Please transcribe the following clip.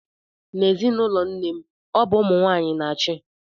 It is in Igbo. N'ezinụlọ nne m, ọ bụ ụmụ nwaanyị na-achị.